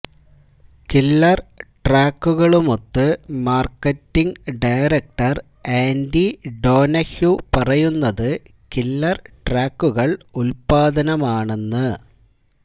killer ട്രാക്കുകളുമൊത്ത് marketing director Andy Donahue പറയുന്നത് killer ട്രാക്കുകൾ ഉൽപ്പാദനമാണെന്ന്